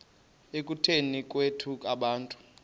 ekutuneni kwethu abantu